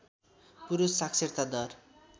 पुरुष साक्षरता दर